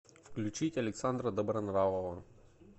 включить александра добронравова